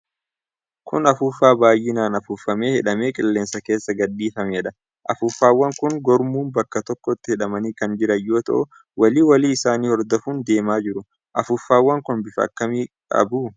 Kun afuuffaa baay'inaan afuuffamee hidhamee qilleensa keessa gadhiifameedha. Afuuffawwan kun gurmuun bakka tokkotti hidhamanii kan jiran yoo ta'u walii walii isaanii hordofun deemaa jiru. Affuufawwan kun bifa akkam akkamii qabu?